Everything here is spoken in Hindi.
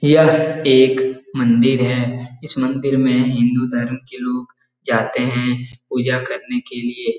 यह एक मंदिर है इस मंदिर में हिन्दू धर्म के लोग जाते हैं पूजा करने के लिए।